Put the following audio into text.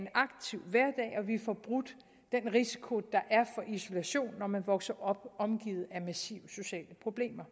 vi får brudt den risiko der er for isolation når man vokser op omgivet af massive sociale problemer